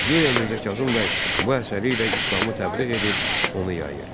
Guya Mirzə Kazım bəy bu əsəri ilə İslamı təbliğ edir, onu yayır.